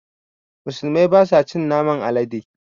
Musulmai basa cin naman alade